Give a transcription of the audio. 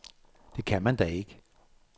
Det kan man da ikke.